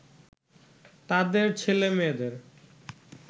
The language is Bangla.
তাদের ছেলে-মেয়েদের